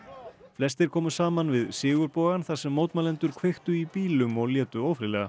flestir komu saman við þar sem mótmælendur kveiktu í bílum og létu ófriðlega